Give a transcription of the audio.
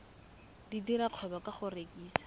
dira kgwebo ka go rekisa